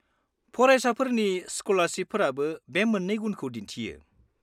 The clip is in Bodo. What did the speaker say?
-फरायसाफोरनि स्कलारसिपफोराबो बे मोननै गुनखौ दिन्थियो।